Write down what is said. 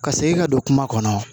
Ka segin ka don kuma kɔnɔ